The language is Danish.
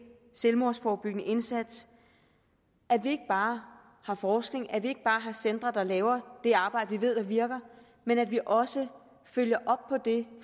selvmordsforebyggende indsats at vi ikke bare har forskning at vi ikke bare har centre der laver det arbejde som vi ved virker men at vi også følger op på det